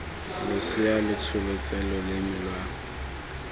losea lo tsholetse loleme lwa